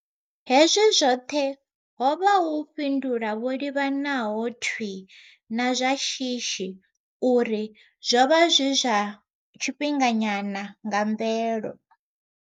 Hezwi zwoṱhe ho vha hu u fhindula ho livhanaho thwii na zwa shishi na uri zwo vha zwi zwa tshifhinganyana nga mvelo.